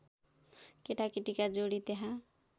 केटाकेटीका जोडी त्यहाँ